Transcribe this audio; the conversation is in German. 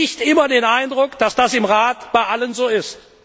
Ich habe nicht immer den Eindruck, dass das im Rat bei allen so ist.